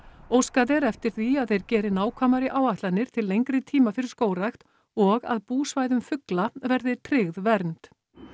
óskað er eftir því að þeir geri nákvæmari áætlanir til lengri tíma fyrir skógrækt og að búsvæðum fugla verði tryggð vernd